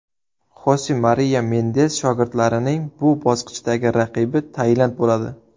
Xose Mariya Mendez shogirdlarining bu bosqichdagi raqibi Tailand bo‘ladi.